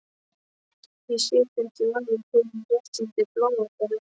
Ég sé þig ekki orðið fyrr en rétt undir blánóttina.